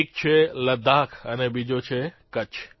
એક છે લદ્દાખ અને બીજો છે કચ્છ